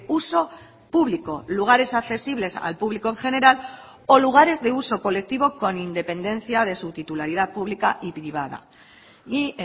uso público lugares accesibles al público en general o lugares de uso colectivo con independencia de su titularidad pública y privada y